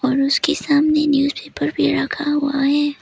और उसके सामने न्यूज़पेपर भी रखा हुआ है।